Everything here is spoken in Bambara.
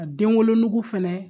Ka den wolonugu fɛnɛ